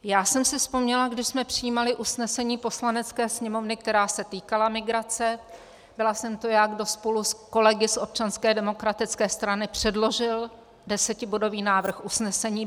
Já jsem si vzpomněla, když jsme přijímali usnesení Poslanecké sněmovny, která se týkala migrace, byla jsem to já, kdo spolu s kolegy z Občanské demokratické strany předložil desetibodový návrh usnesení.